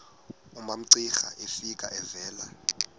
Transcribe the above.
umamcira efika evela